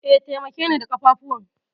E, taimakeni da ƙafafuwan.